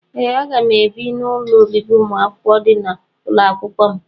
Ee aga m ebi n'ụlọ obibi umuakwukwo dị na ụlọakwụkwọ m.